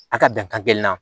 A ka dan kelen na